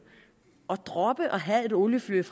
at droppe at have et oliefyr